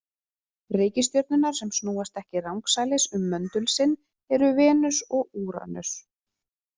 Reikistjörnurnar sem snúast ekki rangsælis um möndul sinn eru Venus og Úranus.